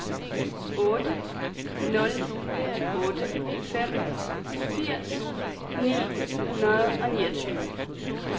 otte nul otte fem firs ni hundrede og niogtyve